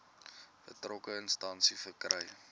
betrokke instansie verkry